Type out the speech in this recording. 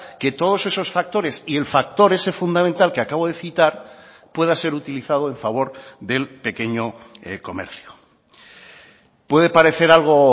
que todos esos factores y el factor ese fundamental que acabo de citar pueda ser utilizado en favor del pequeño comercio puede parecer algo